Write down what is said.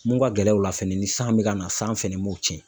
Mun ka gɛlɛn o la fɛnɛ, ni san be ka na ,san fɛnɛ b'o cɛn.